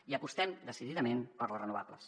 i apostem decididament per les renovables